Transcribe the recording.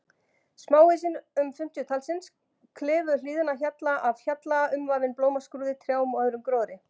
Smáhýsin, um fimmtíu talsins, klifu hlíðina hjalla af hjalla umvafin blómskrúði, trjám og öðrum gróðri.